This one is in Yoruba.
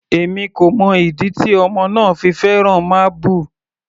Èmi kò mọ ìdí tí ọmọ náà fi fẹ́ràn máábù.